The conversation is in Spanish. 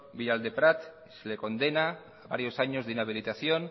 villadelprat que se le condena a varios años de inhabilitación